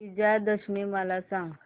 विजयादशमी मला सांग